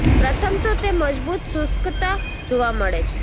પ્રથમ તો તે મજબૂત શુષ્કતા જોવા મળે છે